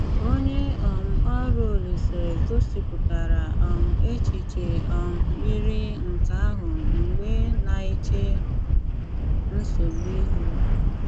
Ónyè um ọrụ Òlíse gósípụtárá um échichè um ýírí nké áhụ mgbè ná-éché nsogbu íhù.